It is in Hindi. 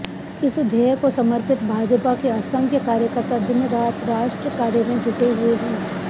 इस ध्येय को समर्पित भाजपा के असंख्य कार्यकर्ता दिनरात राष्ट्र कार्य में जुटे हुए हैं